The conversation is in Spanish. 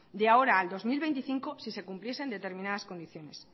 de ahora al dos mil veinticinco si se cumpliesen determinadas condiciones